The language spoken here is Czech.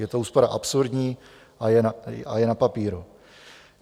Je to úspora absurdní a je na papíru.